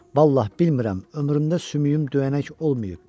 Vallahi, bilmirəm ömrümdə sümüyüm döyənək olmayıb.